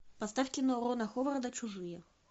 поставь кино рона ховарда чужие